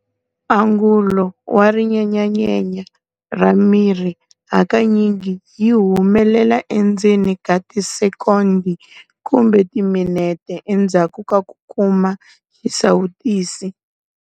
Angulo wa rinyenyanyenya ra miri hakanyingi yi humelela endzeni ka tisekondi kumbe timinete endzhaku ka ku kuma xisawutisi.